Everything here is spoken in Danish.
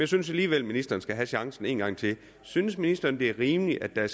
synes alligevel ministeren skal have chancen en gang til synes ministeren det er rimeligt at